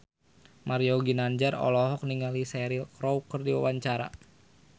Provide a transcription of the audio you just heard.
Mario Ginanjar olohok ningali Cheryl Crow keur diwawancara